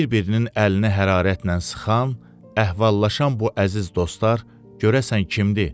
Bir-birinin əlini hərarətlə sıxan, əhvallashan bu əziz dostlar görəsən kimdir?